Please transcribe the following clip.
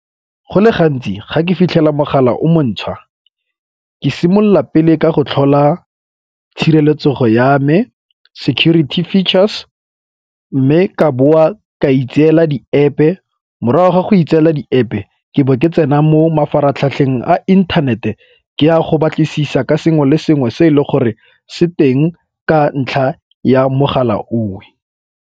Go le gantsi ga ke fitlhela mogala o mo ntjha, ke simolola pele ka go tlhola tshireletsego ya me, security features mme ka boa ka itseela di-App-e. Morago ga go itseela di-App-e ke bo ke tsena mo mafaratlhatlheng a inthanete ke a go batlisisa ka sengwe le sengwe se e leng gore se teng ka ntlha ya mogala o.